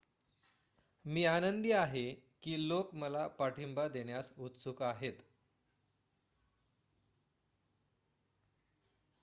मी आनंदी आहे की लोक मला पाठिंबा देण्यास उत्सुक आहेत